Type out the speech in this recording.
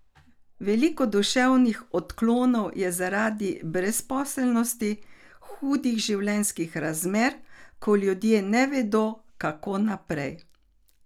Veliko duševnih odklonov je zaradi brezposelnosti, hudih življenjskih razmer, ko ljudje ne vedo, kako naprej.